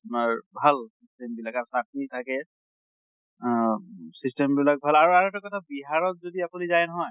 ভাল system বিলাক। আৰু লগতে চাতনী থাকে অহ system বিলাক ভাল। আৰু আৰু এটা কথা বিহাৰত যদি আপোনি যায় নহয়